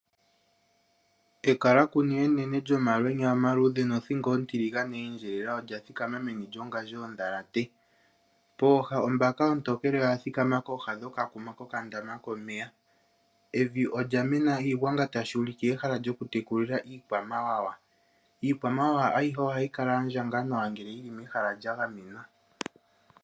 Ekalakunu enene lyomalwenya omaluudhe nothingo ontiligane ye endjelela olya thikama meni lyongandjo yondhalate, pooha ombaka ontokele oya thikama kooha dhokakuma kokandama komeya. Evi olya mena iigwanga tashi ulike ehala lyoku tekulila iikwamawawa. Iikwamawawa ayihe ohayi kala ya ndjanga nawa ngele yi li mehala lya gamenwa.